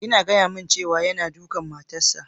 Kina gaya mun cewa yana dukan matan sa?